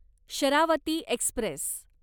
Sharavati Express